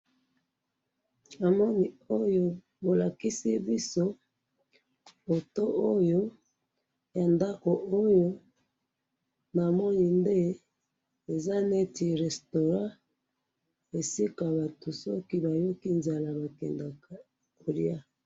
Eloko bolakisi biso awa, eza restaurant, soki nayoki nzala nakendeke kolia.